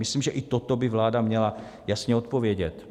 Myslím, že i toto by vláda měla jasně odpovědět.